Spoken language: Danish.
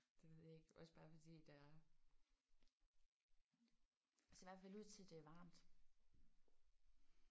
Det ved jeg ikke. Også bare fordi der er ser i hvert fald ud til at det er varmt